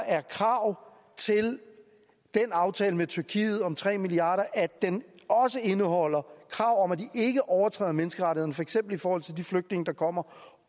er krav til den aftale med tyrkiet om tre milliard kr om at den også indeholder krav om at de ikke overtræder menneskerettighederne for eksempel i forhold til de flygtninge der kommer